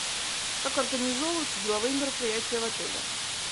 как организовываются деловые мероприятия в отеле